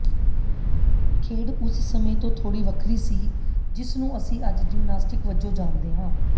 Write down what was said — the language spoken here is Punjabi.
ਖੇਡ ਉਸ ਸਮੇਂ ਤੋਂ ਥੋੜੀ ਵੱਖਰੀ ਸੀ ਜਿਸ ਨੂੰ ਅਸੀਂ ਅੱਜ ਜਿਮਨਾਸਟਿਕ ਵਜੋਂ ਜਾਣਦੇ ਹਾਂ